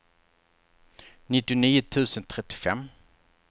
nittionio tusen trettiofem